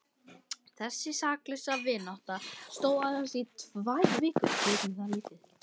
Þessi saklausa vinátta stóð aðeins í tvær vikur.